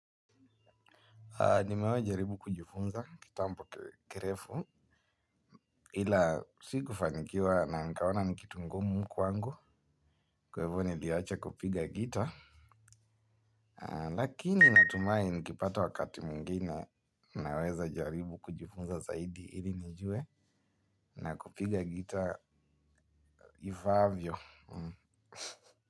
Nimeahie jaribu kujifunza kitambo ki kirefu ila sikufanikiwa na nikaona ni kitu ngumu kwangu kwa hivo niliacha kupiga gitaa. Lakini natumai nikipata wakati mwingine naweza jaribu kujifunza zaidi ili nijue na kupiga gitaa ifaavyo.